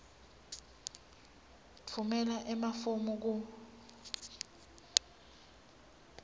tfumela emafomu ku